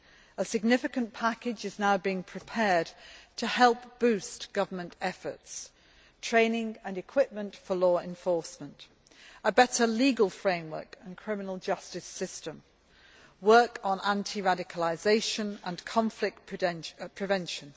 A significant package is now being prepared to help boost government efforts training and equipment for law enforcement, a better legal framework and criminal justice system, work on anti radicalisation and conflict prevention.